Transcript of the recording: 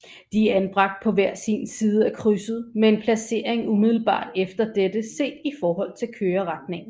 De er anbragt på hver sin side af krydset med en placering umiddelbart efter dette set i forhold til køreretningen